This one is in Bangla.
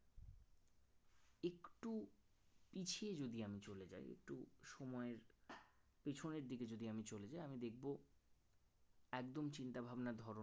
পিছিয়ে যদি আমি চলে যাই একটু সময়ের পেছনের দিকে যদি আমি চলে যাই আমি দেখব একদম চিন্তাভাবনার ধরন